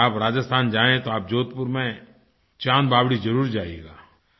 अगर आप राजस्थान जाएँ तो आप जोधपुर में चाँद बावड़ी जरुर जाइएगा